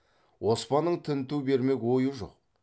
оспанның тінту бермек ойы жоқ